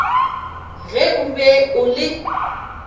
ge o be o le